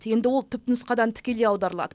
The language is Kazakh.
енді ол түпнұсқадан тікелей аударылады